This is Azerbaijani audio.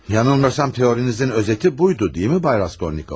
Yanılmasam teorinizin özəti buydu, deyilmi, cənab Raskolnikov?